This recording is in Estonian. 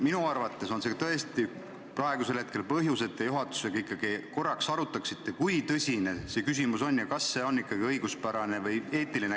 Minu arvates on see praegu tõesti piisav põhjus, et te juhatusega ikkagi korraks läbi arutaksite, kui tõsine see küsimus on ja kas selline käitumine on ikkagi õiguspärane või eetiline.